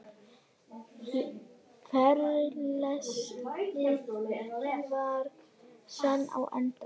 Frelsið var senn á enda.